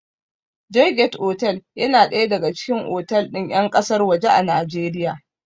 Joygate otal yana ɗaya daga cikin otal ɗin ƴan ƙasar waje a Najeriya